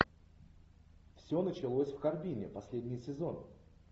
все началось в харбине последний сезон